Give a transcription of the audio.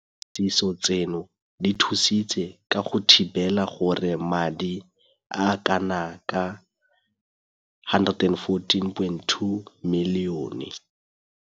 Dipatlisiso tseno di thusitse ka go thibela gore madi a a kanaka R114.2 milione.